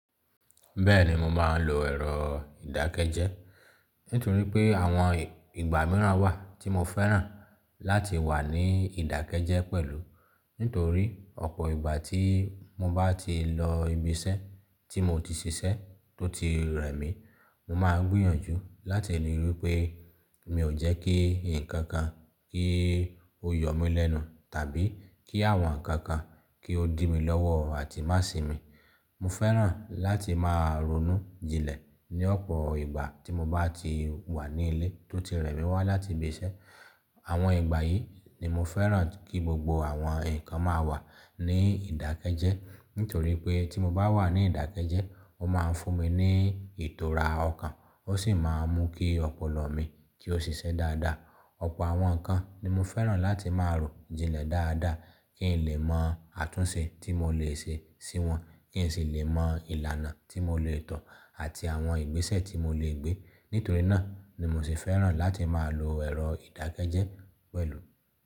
Bẹ́ẹ̀ni mo máa ń lo ẹ̀rọ ìdákẹ́jẹ́. Nítorí pé àwọn ìgbà mìíràn wà tí mo fẹ́ràn láti wà ní ìdákẹ́jẹ́ pẹ̀lú. Nítorí ọ̀pọ̀ ìgbà tí mo bá ti lọ ibi iṣẹ́ tí mo ti ṣiṣẹ́ tó ti rẹ̀ mí, mo máa ń gbiyànjú láti le rí pé mi ò jẹ́ kí ǹkan kan kí ó yọ mí lẹ́nu, tàbí kí àwọn ǹkan kan kí ó dì mi lọ́wọ́ àti má sì mi. Mo fẹ́ràn láti máa ronú jinlẹ̀ ní ọ̀pọ̀ ìgbà tí mo bá ti wà ní ilé tó ti rẹ̀ mí wá láti ibi iṣẹ́. Àwọn ìgbà yìí ni mo fẹ́ràn kí gbogbo àwọn ǹkan máa wà ní ìdákẹ́jẹ́. Nítorí pé tí mo bá wà ní ìdákẹ́jẹ́, ó máa ń fún mi ní ìtura ọkàn ó sì máa ń mú kí ọpọlọ mi kí ó ṣiṣẹ́ dáadáa. Ọ̀pọ̀ àwọn ǹkan ni mo fẹ́ràn láti máa rò jinlẹ̀ dáadáa kí n lè mọ àtúnṣe tí mo lè ṣe sí wọn, kí n sì lè mọ ìlànà tí mo lè to àti àwọn ìgbésẹ̀ tí mo lè gbé. Nítorí náà ni mo sì fẹ́ràn láti máa lo ẹ̀rọ ìdákẹ́jẹ́ pẹ̀lú.